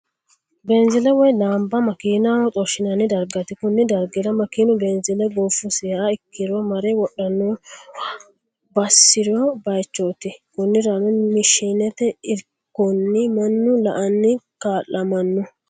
Beenzile woyi laamba makinaho xorishinanni darigati, koni darigira makinu beenzile goofusiha ikkiro mare wodhanonnabwonshirano bayichooti koniranno mashinete irikonni manu la'anni kaalamano